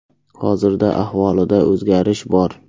Hozirda ahvolida o‘zgarish bor.